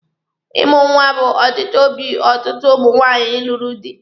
Ịmụ nwa bụ ọchịchọ obi ọtụtụ ụmụ nwaanyị lụrụ di.